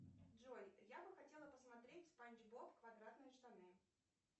джой я бы хотела посмотреть спанч боб квадратные штаны